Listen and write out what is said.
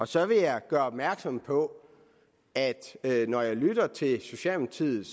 så vil jeg gøre opmærksom på at når jeg lytter til socialdemokratiet